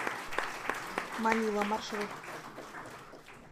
манила маршрут